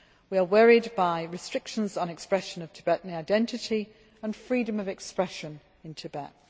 We are worried by restrictions on the expression of Tibetan identity and freedom of expression in Tibet.